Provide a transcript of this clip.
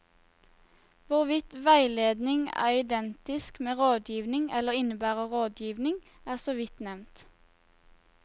Hvorvidt veiledning er identisk med rådgivning eller innebærer rådgivning, er så vidt nevnt.